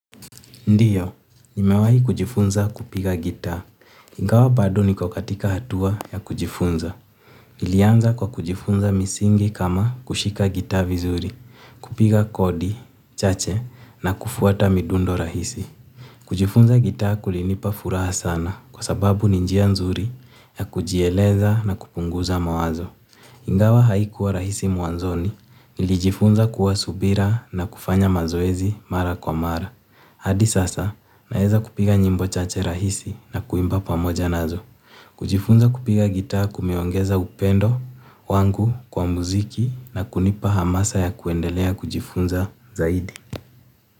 Ndiyo, nimewahi kujifunza kupiga gitaa. Ingawa bado niko katika hatua ya kujifunza. Nilianza kwa kujifunza misingi kama kushika gitaa vizuri, kupiga kodi, chache na kufuata midundo rahisi. Kujifunza gitaa kulinipa furaha sana kwa sababu ni njia nzuri ya kujieleza na kupunguza mawazo. Ingawa haikuwa rahisi mwanzoni, nilijifunza kuwa subira na kufanya mazoezi mara kwa mara. Hadi sasa naeza kupiga nyimbo chache rahisi na kuimba pamoja nazo. Kujifunza kupiga gitaa kumeongeza upendo wangu kwa muziki na kunipa hamasa ya kuendelea kujifunza zaidi.